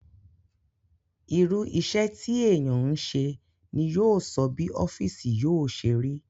Irú isẹ́ tí èèyàn ń se ni yóò sọ bí ọ́fìsì yóò ṣe rí